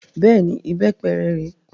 Bẹ́ẹ̀ni, ìbépe rè é